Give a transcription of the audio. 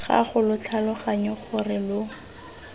gago lo tlhaloganye gore lo